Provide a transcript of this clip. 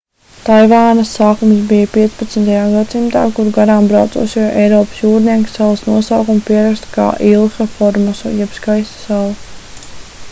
taivānas sākums bija 15. gadsimtā kur garām braucošie eiropas jūrnieki salas nosaukumu pieraksta kā ilha formosa jeb skaista sala